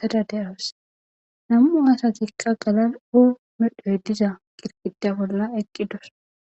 tada deros namu asatikka galal o medhoy diza qirqida bolla eqqi dos.